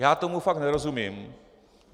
Já tomu fakt nerozumím.